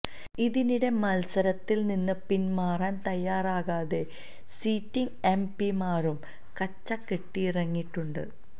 ഇതിനിടെ മത്സരത്തില് നിന്ന് പിന്മാറാന് തയ്യാറാകാതെ സിറ്റിംഗ് എം പിമാരും കച്ച കെട്ടിയിറങ്ങിയിട്ടുണ്ട്